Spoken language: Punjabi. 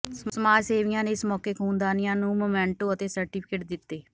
ਸਮਾਜ ਸੇਵੀਆਂ ਨੇ ਇਸ ਮੌਕੇੇ ਖ਼ੂਨਦਾਨੀਆਂ ਨੂੰ ਮੋਮੈਂਟੋ ਅਤੇ ਸਰਟੀਫਿਕੇਟ ਦਿੱਤੇ